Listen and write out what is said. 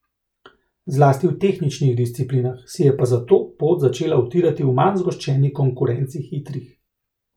Zlasti v tehničnih disciplinah, si je pa zato pot začela utirati v manj zgoščeni konkurenci hitrih.